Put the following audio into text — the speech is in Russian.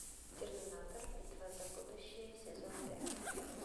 терминатор битва за будущее сезон пять